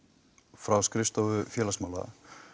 frá skrifstofu félagsmála